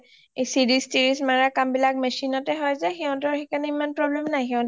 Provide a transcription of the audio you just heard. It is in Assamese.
এই ছিৰিজ তিৰিছ মাৰা কাম বিলাক machine অতে হই যে সিহঁতৰ সেইকাৰণে ইমান problem নাই হিহতিয়ে